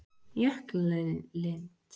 Jöklalind